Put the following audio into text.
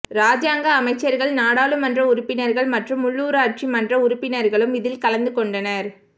இராஜங்க அமைச்சர்கள் நாடாளுமன்ற உறுப்பினர்கள் மற்றும் உள்ளூராட்சி மன்ற உறுப்பினர்களும் இதில் கலந்து கொண்டனர்